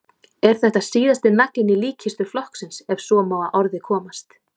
Er þetta síðasti naglinn í líkkistu flokksins ef svo má að orði komast?